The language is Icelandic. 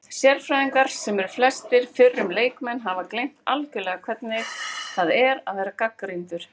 Sérfræðingar, sem eru flestir fyrrum leikmenn, hafa gleymt algjörlega hvernig það er að vera gagnrýndur